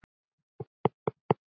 Það er ekki kristin hugsun.